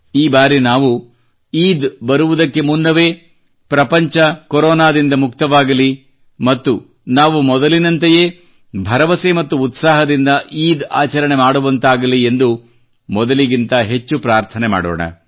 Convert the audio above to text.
ಈ ಬಾರಿ ನಾವು ಈದ್ ಬರುವುದಕ್ಕೆ ಮುನ್ನವೇ ಪ್ರಪಂಚ ಕೊರೋನಾದಿಂದ ಮುಕ್ತವಾಗಲಿ ಮತ್ತು ನಾವು ಮೊದಲಿನಂತೆಯೇ ಭರವಸೆ ಮತ್ತು ಉತ್ಸಾಹದಿಂದ ಈದ್ ಆಚರಣೆ ಮಾಡುವಂತಾಗಲಿ ಎಂದು ಮೊದಲಿಗಿಂತ ಹೆಚ್ಚು ಪ್ರಾರ್ಥನೆ ಮಾಡೋಣ